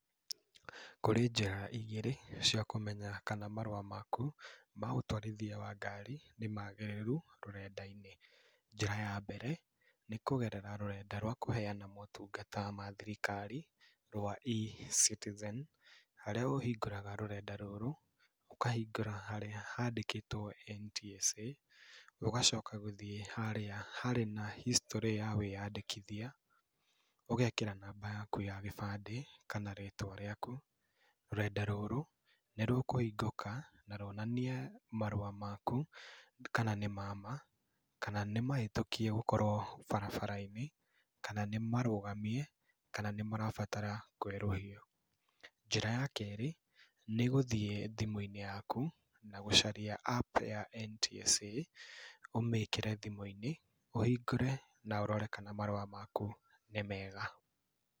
Kũrĩ njĩra igĩrĩ, cia kũmenya kana marũa maku ma ũtwarithia wa ngari nĩ magĩrĩru rũrenda-inĩ. Njĩra ya mbere, nĩ kũgerera rũrenda rwa kũhena motungata ma thirikari rwa E-citizen, harĩa ũhingũraga rũrenda rũrũ, ũkahingũra harĩa handĩkĩtwe NTSA, ũgacoka gũthiĩ harĩa harĩ na history ya wĩyandĩkithia, ũgekĩra namba yaku ta gĩbande kana rĩtwa rĩaku, rũrenda rũrũ nĩ rũkũhingũka na rũonanie marũa maku kana nĩ mama, kana nĩ mahĩtũkie gũkorwo barabara-inĩ, kana nĩ marũgamie, kana nĩ marabatara kwerũhio. Njĩra ya kerĩ nĩgũthiĩ thimũinĩ yaku na gũcaria app ya NTSA ũmĩkĩre thimũ-inĩ, ũhingũre na ũrore kana marũa maku nĩ mega.